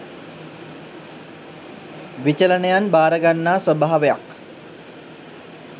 විචලනයන් භාර ගන්නා ස්වභාවයක්